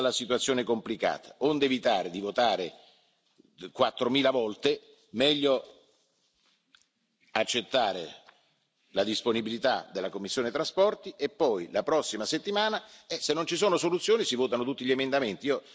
Vista la situazione complicata, onde evitare di votare quattromila volte, meglio accettare la disponibilità della commissione TRAN e poi, la prossima settimana, se non ci sono soluzioni si votano tutti gli emendamenti.